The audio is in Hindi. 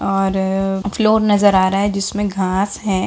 और फ्लोर नजर आ रहा है जिसमें घास है।